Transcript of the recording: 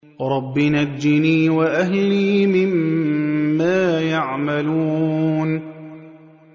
رَبِّ نَجِّنِي وَأَهْلِي مِمَّا يَعْمَلُونَ